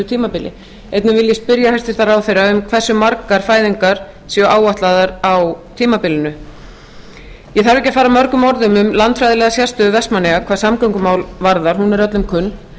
tímabili einnig vil ég spyrja hæstvirtan ráðherra um hversu margar fæðingar séu áætlaðar á tímabilinu ég þarf ekki að fara mörgum orðum um landfræðilega sérstöðu vestmannaeyja hvað samgöngumál varðar hún er öllum kunn